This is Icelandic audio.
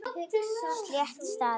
Slétt staðið.